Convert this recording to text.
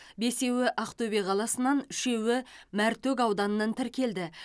бесеуі ақтөбе қаласынан үшеуі мәртөк ауданынан тіркелді